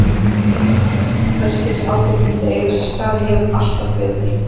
Það var alveg sama hvers kyns átök myndu eiga sér stað, ég hefði alltaf betur.